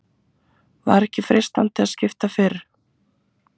Var ekki freistandi að skipta fyrr?